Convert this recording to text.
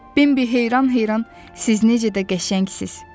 Bimbi heyran-heyran, siz necə də qəşəngsiniz!